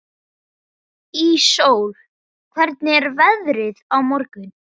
Íssól, hvernig er veðrið á morgun?